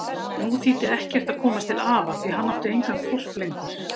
Nú þýddi ekkert að komast til afa því hann átti engan hvolp lengur.